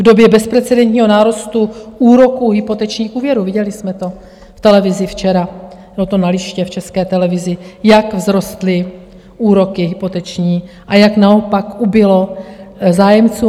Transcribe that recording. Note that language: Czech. V době bezprecedentního nárůstu úroků hypotečních úvěrů, viděli jsme to v televizi včera, bylo to na liště v České televizi, jak vzrostly úroky hypoteční a jak naopak ubylo zájemců.